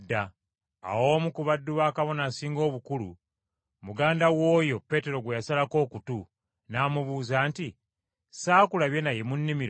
Awo omu ku baddu ba Kabona Asinga Obukulu, muganda w’oyo Peetero gwe yasalako okutu, n’amubuuza nti, “Saakulabye naye mu nnimiro?”